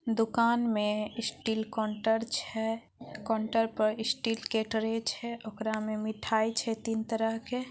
दुकान में steel counter छे काउंटर पर स्टील के ट्रे छे ओकरा में मिठाई छे तीन तरह के।